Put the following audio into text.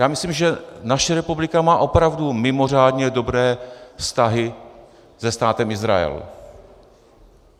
Já myslím, že naše republika má opravdu mimořádně dobré vztahy se Státem Izrael.